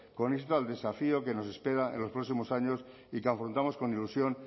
con al desafío que nos espera en los próximos años y que afrontamos con ilusión